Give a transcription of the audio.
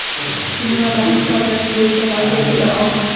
Dunyoda iqtisodiyot bo‘yicha vaziyat juda og‘ir.